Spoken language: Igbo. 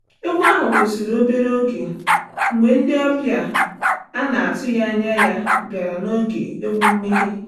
Egwu ahụ kwụsịrị obere oge mgbe ndị ọbịa a na-atụghị anya ya batara n'oge egwu mmeghe.